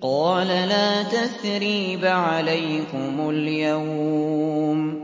قَالَ لَا تَثْرِيبَ عَلَيْكُمُ الْيَوْمَ ۖ